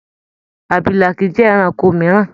Àbìlà kii jẹ ẹranko mìíràn.